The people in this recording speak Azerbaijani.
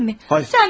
Sən bilərsən.